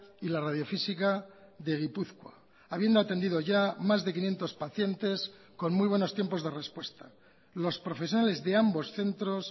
y la radiofísica de gipuzkoa habiendo atendido ya más de quinientos pacientes con muy buenos tiempos de respuesta los profesionales de ambos centros